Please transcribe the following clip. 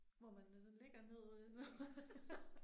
Hvor man øh sådan ligger ned øh så